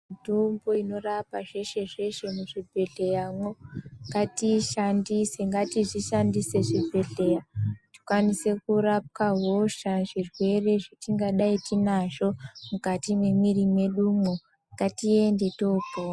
Mutombo inorapa zvese zvese muzvibhodhleya mwo ngatiishandise ngatizvishandise zvibhedhleya tikwanise kurapwa hosha zvirwere zvatingadai tinazvo mukati mwemiri mwedumwo ngatiende tohlo.